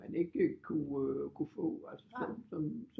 Man ikke kunne få som